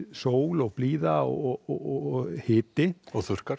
sól og blíða og hiti og þurrkar